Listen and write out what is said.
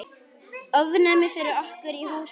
Ofnæmi fyrir okkur og húsinu!